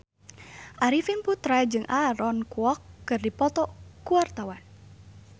Arifin Putra jeung Aaron Kwok keur dipoto ku wartawan